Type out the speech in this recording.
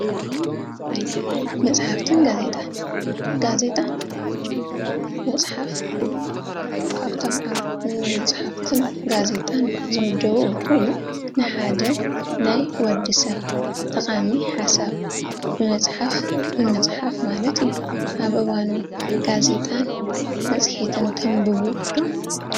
መፅሓፍትን ጋዜጣን፡- ጋዜጣን መፅሓፍ ካብቶም ኣብ መፅሓፍትን ጋዜጣን ዝምደቡ ኾይኑ፣ ንሓደ ናይ ወዲ ሰብ ጠቓሚ ሓሳብ ብመፅሓፍ ምፅሓፍ ማለት እዩ፡፡ ናይ እዋኑ ጋዜጣን መፅሄትን ተንብቡ ዶ ?